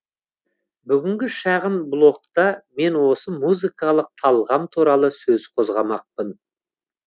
бүгінгі шағын блогта мен осы музыкалық талғам туралы сөз қозғамақпын